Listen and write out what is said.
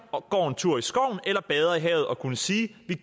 og går en tur i skoven eller bader i havet og kunne sige